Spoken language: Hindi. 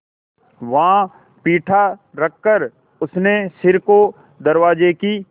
वहाँ पीढ़ा रखकर उसने सिर को दरवाजे की